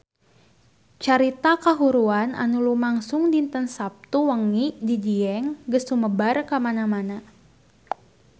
Carita kahuruan anu lumangsung dinten Saptu wengi di Dieng geus sumebar kamana-mana